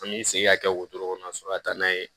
An bɛ segin ka kɛ wotoro kɔnɔ sɔrɔ ka taa n'a ye